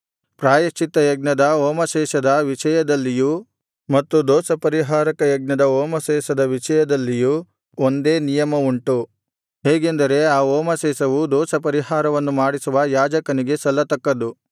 ಪ್ರಾಯಶ್ಚಿತ್ತಯಜ್ಞದ ಹೋಮಶೇಷದ ವಿಷಯದಲ್ಲಿಯೂ ಮತ್ತು ದೋಷಪರಿಹಾರಕ ಯಜ್ಞದ ಹೋಮಶೇಷದ ವಿಷಯದಲ್ಲಿಯೂ ಒಂದೇ ನಿಯಮಯುಂಟು ಹೇಗೆಂದರೆ ಆ ಹೋಮಶೇಷವು ದೋಷಪರಿಹಾರವನ್ನು ಮಾಡಿಸುವ ಯಾಜಕನಿಗೆ ಸಲ್ಲತಕ್ಕದ್ದು